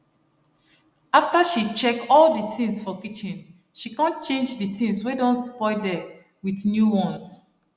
after she check all d things for kitchen she con change d tins wey don spoil der with new ones